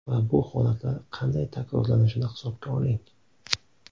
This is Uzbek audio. Va bu holatlar qanday takrorlanishini hisobga oling.